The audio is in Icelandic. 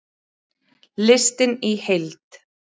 Listinn í heild